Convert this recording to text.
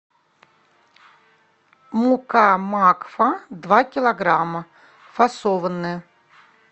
мука макфа два килограмма фасованная